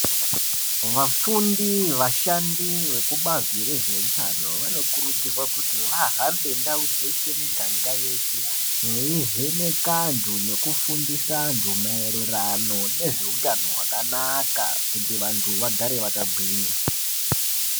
Vafundi, vashandi vekubazi rezveutano vanokurudzirwa kuti vahambe ndau dzeshe miganga yeshe veivheneka antu veifundisa vantu maererano nezveutano hwakanaka kuti vantu vagare vakagwinya.